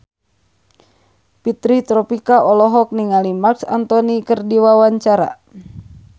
Fitri Tropika olohok ningali Marc Anthony keur diwawancara